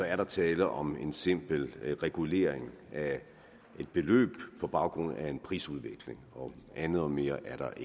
er der tale om en simpel regulering af et beløb på baggrund af en prisudvikling og andet og mere er der